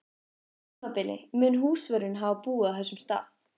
tímabili mun húsvörðurinn hafa búið á þessum stað.